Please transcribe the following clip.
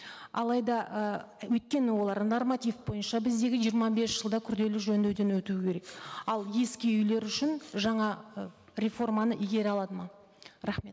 алайда і өйткені олар норматив бойынша біздегі жиырма бес жылда күрделі жөндеуден өтуі керек ал ескі үйлер үшін жаңа ы реформаны игере алады ма рахмет